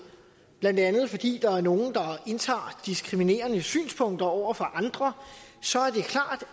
blandt andet fordi der er nogle der indtager diskriminerende synspunkter over for andre